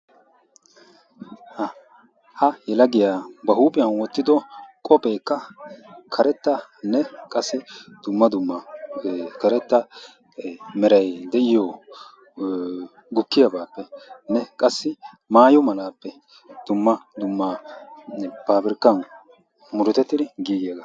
Ha ha yelagiya ba huuphiyan wottido kophpheka karettane qassi dumma dumma karetta meeray deiyo gukkiyappene qassi maayo malaape dumma dumma paabirkkan murutetidi gigiyaba.